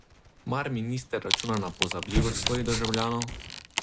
Mar minister računa na pozabljivost svojih državljanov?